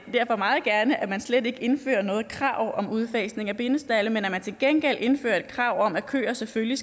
derfor meget gerne at man slet ikke indfører noget krav om udfasning af bindestalde men at man til gengæld indfører et krav om at køer selvfølgelig